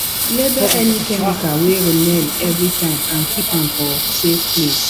label any chemical wey remain everytime and keep am for safe place